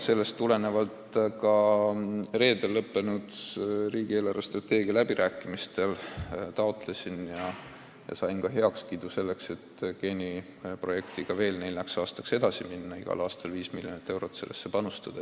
Sellest tulenevalt ma taotlesin reedel lõppenud riigi eelarvestrateegia läbirääkimistel heakskiitu selleks, et geeniprojektiga veel nelja aasta jooksul edasi minna ning igal aastal viis miljonit eurot sellesse panustada.